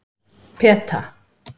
Peta